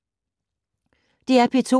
DR P2